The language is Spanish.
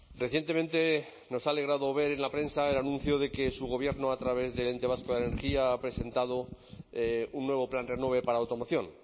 recientemente nos ha alegrado ver en la prensa el anuncio de que su gobierno a través del ente vasco de la energía ha presentado un nuevo plan renove para automoción